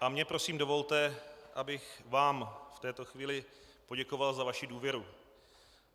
A mně, prosím, dovolte, abych vám v této chvíli poděkoval za vaši důvěru.